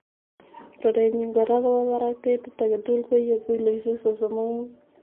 Rurenyin kora kobo barak. Ketit agetugul koiye kiloisiek sosom ok mut.